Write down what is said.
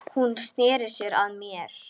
Hún sneri sér að mér.